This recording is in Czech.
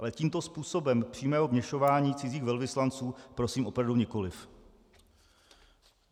Ale tímto způsobem přímého vměšování cizích velvyslanců prosím opravdu nikoliv.